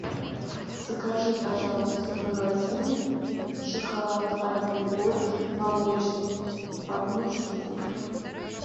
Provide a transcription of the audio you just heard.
закажи пожалуйста в магазине шоколад альпен гольд молочный одну штуку